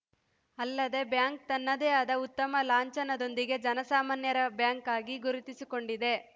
ಅಲ್ಲದೇ ಬ್ಯಾಂಕ್‌ ತನ್ನದೇ ಆದ ಉತ್ತಮ ಲಾಂಛನದೊಂದಿಗೆ ಜನಸಾಮಾನ್ಯರ ಬ್ಯಾಂಕ್‌ ಆಗಿ ಗುರುತಿಸಿಕೊಂಡಿದೆ